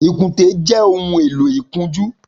Ikùnté jè óhùn éló ikùnjù